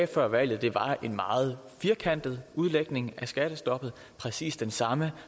før valget var en meget firkantet udlægning af skattestoppet præcis den samme